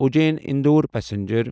Ujjain Indore passenger